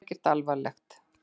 Þetta er ekkert alvarlegt.